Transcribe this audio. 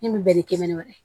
Min bɛ ni kɛnɛn wɛrɛ ye